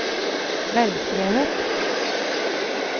velskrevet